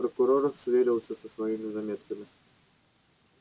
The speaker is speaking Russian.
прокурор сверился со своими заметками